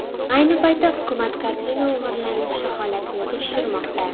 Ayni paytda hukumat kartina o‘g‘irlanishi holatini tekshirmoqda.